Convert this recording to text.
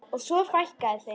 Og svo fækkaði þeim.